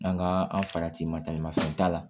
An ka an farati ma taamafɛn t'a la